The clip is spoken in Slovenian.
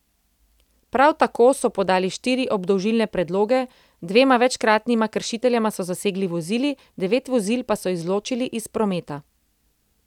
Prav tako so podali štiri obdolžilne predloge, dvema večkratnima kršiteljema so zasegli vozili, devet vozil pa so izločili iz prometa.